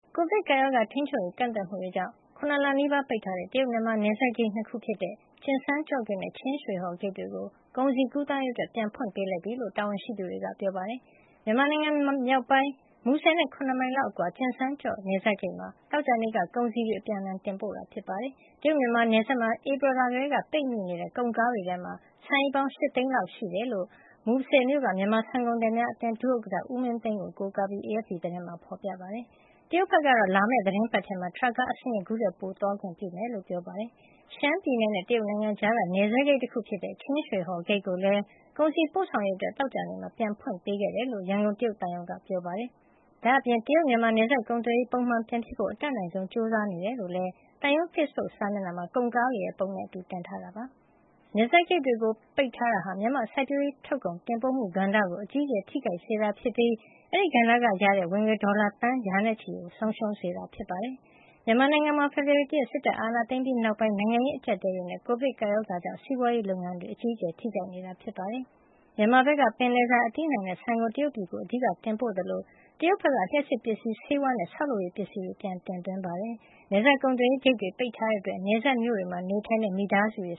ကိုဗစ်ကပ်ရောဂါ ထိန်းချုပ်ရေး ကန့်သတ်မှုတွေကြောင့် ၇ လနီးပါး ပိတ်ထားတဲ့ တရုတ်-မြန်မာ နယ်စပ်ဂိတ် ၂ ဂိတ်ဖြစ်တဲ့ ကျင်ဆန်းကျော့ဂိတ်နဲ့ ချင်းရွှေဟော်ဂိတ်တွေကို ကုန်စည်ကူးသန်းရေးအတွက် ပြန်ဖွင့်ပေးလိုက်ပြီလို့ တာဝန်ရှိသူတွေက ပြောပါတယ်။ မြန်မာနိုင်ငံမြောက်ပိုင်း မူဆယ်နဲ့ ၇ မိုင်လောက်အကွာက ကျင်ဆန်းကျော့ နယ်စပ်ဂိတ်မှာ သောကြာနေ့က ကုန်စည်တွေ အပြန်အလှန် တင်ပို့ခဲ့ကြတာပါ။ တရုတ်-မြန်မာနယ်စပ်မှာ ဧပြီလကတည်းက ပိတ်မိနေတဲ့ ကုန်ကားတွေထဲမှာ ဆန်အိတ်ပေါင်း ၈ သိန်းလောက် ရှိနိုင်တယ်လို့ မူဆယ်မြို့က မြန်မာဆန်ကုန်သည်များအသင်း ဒုဥက္ကဋ္ဌ ဦးမင်းသိန်းကို ကိုးကားပြီး AFP သတင်းမှာ ဖော်ပြထားပါတယ်။ တရုတ်ဘက်ကတော့ လာမယ့် သီတင်းပတ်ထဲမှာ ထရပ်ကားအစင်းရေ ခုထက်ပိုသွားခွင့်ပြုမှာဖြစ်ကြောင်း ပြောပါတယ်။ ရှမ်းပြည်နယ်နဲ့ တရုတ်နိုင်ငံကြားက နယ်စပ်ဂိတ်တခုဖြစ်တဲ့ ချင်းရွှေဟော်ဂိတ်ကိုလည်း ကုန်စည်ပို့ဆောင်ရေးအတွက် သောကြာနေ့မှာ ပြန်ဖွင့်ပေးခဲ့တယ်လို့ ရန်ကုန် တရုတ်သံရုံးက ပြောပါတယ်။ ဒါ့အပြင် တရုတ်-မြန်မာ နယ်စပ်ကုန်သွယ်ရေး ပုံမှန်ပြန်ဖြစ်ဖို့ အတတ်နိုင်ဆုံး ကြိုးစားနေကြောင်းလည်း သံရုံး ဖေ့စ်ဘုတ်စာမျက်နှာမှာ ကုန်ကားတွေပုံနဲ့အတူ တင်ထားတာ ဖြစ်ပါတယ်။ နယ်စပ်ဂိတ်တွေ ပိတ်ထားတာဟာ မြန်မာ့စိုက်ပျိုးရေးထုတ်ကုန် တင်ပို့မှုကဏ္ဍကို အကြီးအကျယ် ထိခိုက်စေတာဖြစ်ပြီး အဲဒီကဏ္ဍကရတဲ့ ဝင်ငွေ ဒေါ်လာ သန်းရာနဲ့ချီ ဆုံးရှုံးစေတာ ဖြစ်ပါတယ်။ မြန်မာနိုင်ငံမှာ ဖေဖော်ဝါရီလ ၁ ရက်နေ့ စစ်တပ်က အာဏာသိမ်းပြီးနောက်ပိုင်း နိုင်ငံရေး အကျပ်အတည်းတွေနဲ့ ကိုဗစ်ကပ်ရောဂါကြောင့် စီးပွားရေးလုပ်ငန်းတွေမှာ အကြီးအကျယ် ထိခိုက်နေတာပါ။ မြန်မာဘက်က ပင်လယ်စာ၊ အသီးအနှံနဲ့ ဆန်ကို တရုတ်ပြည်ကို အဓိက တင်ပို့သလို တရုတ်ဘက်က လျှပ်စစ်ပစ္စည်း၊ ဆေးဝါးနဲ့ ဆောက်လုပ်ရေးပစ္စည်းတွေ ပြန်တင်သွင်းတာပါ။ နယ်စပ်ကုန်သွယ်ရေးဂိတ်တွေ ပိတ်ထားတာကြောင့် နယ်စပ်မြို့လေးတွေမှာ နေထိုင်တဲ့ မိသားစုတွေ